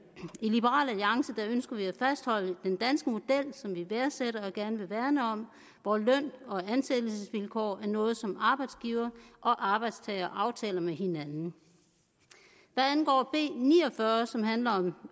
i liberal alliance ønsker vi at fastholde den danske model som vi værdsætter og gerne vil værne om hvor løn og ansættelsesvilkår er noget som arbejdsgiver og arbejdstager aftaler med hinanden hvad angår b ni og fyrre som handler om